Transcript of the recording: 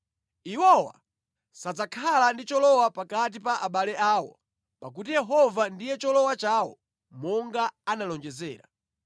Iwowa sadzakhala ndi cholowa pakati pa abale awo pakuti Yehova ndiye cholowa chawo monga anawalonjezera.